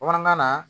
Bamanankan na